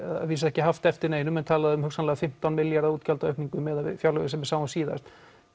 vísu ekki haft eftir neinum en talað um hugsanlega fimmtán milljarða útgjalda aukningu meðað við fjárlögin sem við sáum síðast